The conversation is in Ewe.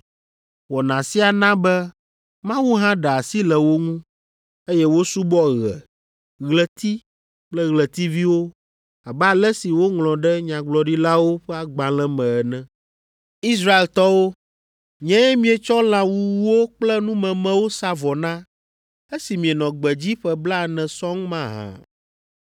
Wɔna sia na be Mawu hã ɖe asi le wo ŋu, eye wosubɔ ɣe, ɣleti kple ɣletiviwo abe ale si woŋlɔ ɖe Nyagblɔɖilawo ƒe agbalẽ me ene. “ ‘Israeltɔwo, nyee mietsɔ lã wuwuwo kple numemewo sa vɔ na esi mienɔ gbedzi ƒe blaene sɔŋ mahã?